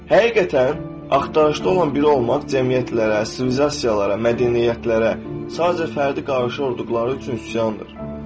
Həqiqətən, axtarışda olan biri olmaq cəmiyyətlərə, sivilizasiyalara, mədəniyyətlərə, sadəcə fərdi qarşı olduqları üçün üsyandır.